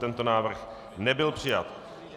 Tento návrh nebyl přijat.